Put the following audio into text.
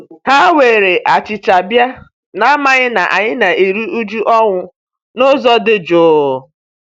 Ha were achicha bia, n'amaghị na anyị na-eru uju ọnwụ n'ụzọ dị juu.